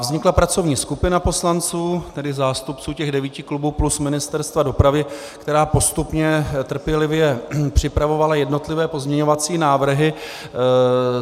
Vznikla pracovní skupina poslanců, tedy zástupců těch devíti klubů, plus Ministerstva dopravy, která postupně trpělivě připravovala jednotlivé pozměňovací návrhy.